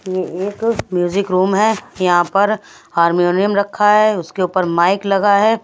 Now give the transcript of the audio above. ये एक music room है यहाँ पर हार्मोनियम रखा है उसके ऊपर माइक लगा है।